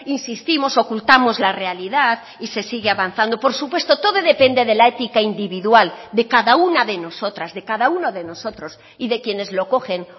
insistimos ocultamos la realidad y se sigue avanzando por supuesto todo depende de la ética individual de cada una de nosotras de cada uno de nosotros y de quienes lo cogen